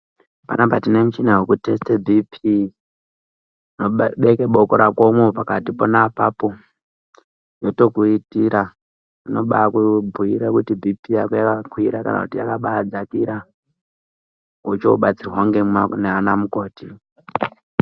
Panapa tine mishina wekuthesite bhiiphii ,unoba unobeke boko rakomwo pakati pona apapo yotokuitira. Inobaakubhuira kuti bhiiphii yako yakakwira, kana kuti yakabaadzakira wochiobatsirwa ngemanaanamukoti.